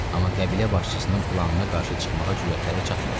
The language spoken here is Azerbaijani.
Amma qəbilə başçısının planına qarşı çıxmağa cürətləri çatmırdı.